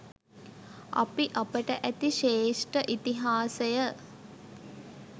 අපි අපට ඇති ශ්‍රේෂ්ට ඉතිහාසය